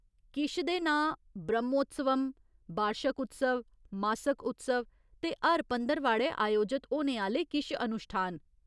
किश दे नांऽ ब्रह्मोत्सवम, बार्शक उत्सव, मासक उत्सव ते हर पंदरवाड़े अयोजत होने आह्‌ला‌ले किश अनुश्ठान।